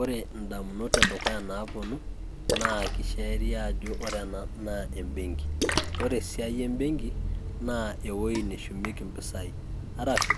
ore indamunot edukuya naapuonu naa kisheria ajo ore ena naa benki .ore esiai ebenki naa ewuei neshumieki mpisai arashu